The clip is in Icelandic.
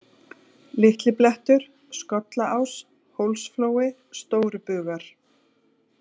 Litliblettur, Skollás, Hólsflói, Stórubugar